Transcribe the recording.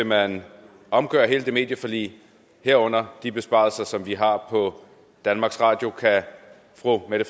man omgøre hele det medieforlig herunder de besparelser som vi har på danmarks radio kan fru mette